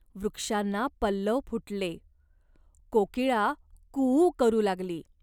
वृक्षांना पल्लव फुटले. कोकिळा कूऊ करू लागली.